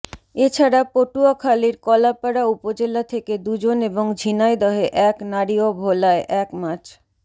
এ ছাড়া পটুয়াখালীর কলাপাড়া উপজেলা থেকে দুজন এবং ঝিনাইদহে এক নারী ও ভোলায় এক মাছ